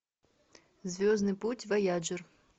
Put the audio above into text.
звездный путь вояджер